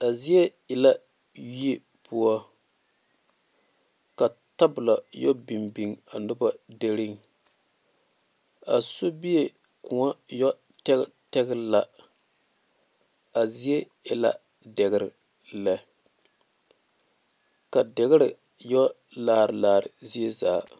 A zieŋ e la yie poɔ ka tabole a yɛ binbiŋe a noba dire a sobie kõɔ yɛ tɛŋtɛŋe la a zieŋ e la deɛre la ka deɛre yɛ laare laare zieŋ zaa.